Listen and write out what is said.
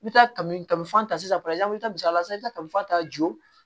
I bɛ taa kafan ta sisan i bɛ taa misali la sisan i bɛ taa kafan ta joona